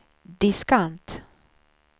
diskant